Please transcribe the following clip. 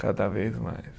Cada vez mais.